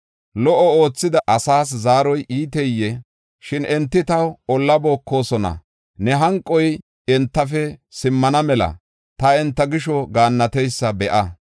Lo77o oothida asas zaaroy iiteyee? Shin enti taw olla bookosona. Ne hanqoy entafe simmana mela ta enta gisho gaannateysa be7a.